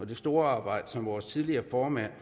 det store arbejde som vores tidligere formand